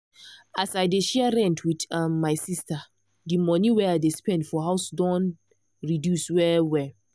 as i dey share rent with um my sister de monie wey i dey spend for house don reduce well well.